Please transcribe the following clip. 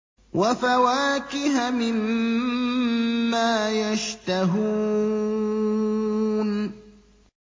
وَفَوَاكِهَ مِمَّا يَشْتَهُونَ